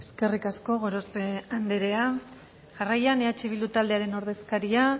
eskerrik asko gorospe andrea jarraian eh bildu taldearen ordezkaria